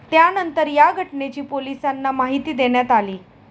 त्यानंतर या घटनेची पोलिसांना माहिती देण्यात आली.